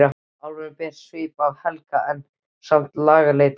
Álfurinn ber svip af Helga en er samt langleitari.